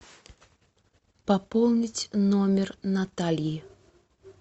пополнить номер натальи